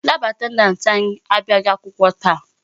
Lab attendant anyị abịaghị akwụkwọ taa.